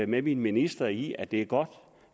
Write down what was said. med min minister i at det er godt